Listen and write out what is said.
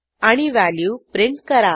आणि value print करा